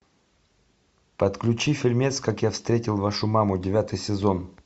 подключи фильмец как я встретил вашу маму девятый сезон